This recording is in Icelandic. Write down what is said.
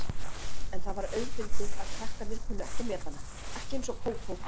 En það var auðfundið að krakkarnir kunnu ekki að meta hana, ekki eins og Kókó.